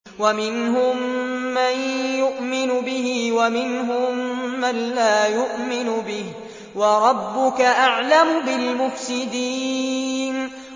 وَمِنْهُم مَّن يُؤْمِنُ بِهِ وَمِنْهُم مَّن لَّا يُؤْمِنُ بِهِ ۚ وَرَبُّكَ أَعْلَمُ بِالْمُفْسِدِينَ